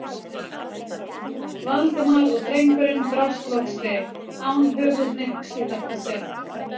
Valdimar og drengurinn brást loks við, án höfuðhnykks í þetta sinn.